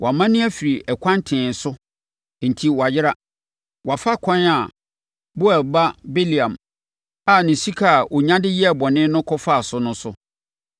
Wɔamane afiri ɛkwan tee no so enti wɔayera. Wɔafa ɛkwan a Beor ba Bileam a ne sika a ɔnya de yɛ bɔne no kɔfaa so no so.